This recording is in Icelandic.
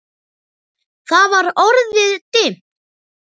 Það var orðið dimmt.